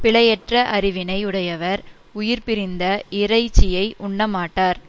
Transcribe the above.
பிழையற்ற அறிவினை உடையவர் உயிர் பிரிந்த இறைச்சியை உண்ணமாட்டார்